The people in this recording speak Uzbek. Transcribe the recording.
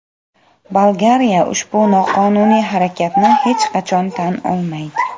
Bolgariya ushbu noqonuniy harakatni hech qachon tan olmaydi.